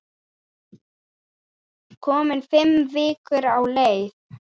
Komin fimm vikur á leið.